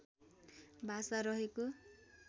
भाषा रहेको